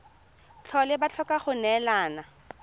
tlhole ba tlhoka go neelana